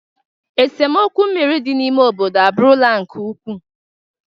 Esemokwu mmiri dị n'ime obodo abụrụla nke ukwuu